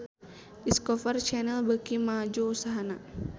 Discovery Channel beuki maju usahana